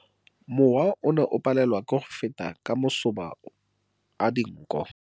Mowa o ne o palelwa ke go feta ka masoba a dinko.